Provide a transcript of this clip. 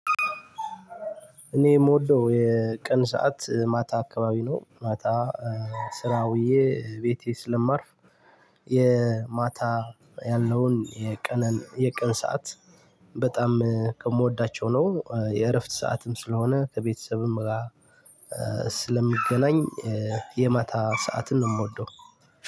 እኔ የምወደው የቀን ሰዓት ማታ አካባቢ ነው። ማታ ስራ ውዬ ቤቴ ስለማርፍ የማታ ያለውን የቀን የቀን ሰዓት በጣም ከምወዳቸው ነው። የእረፍት ሰዓትም ስለሆነ ከቤተሰብም ጋር ስለምገናኝ የማታ ሰዓትን ነው የምወደው።